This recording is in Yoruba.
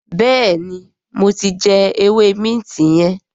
béèni mo tí jé ewé Minti yen.